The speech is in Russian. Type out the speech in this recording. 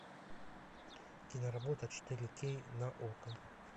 киноработа четыре кей на окко